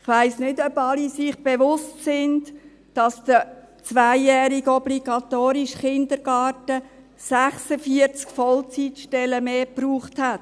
Ich weiss nicht, ob sich alle bewusst sind, dass der zweijährige obligatorische Kindergarten 46 Vollzeitstellen mehr benötigt hat.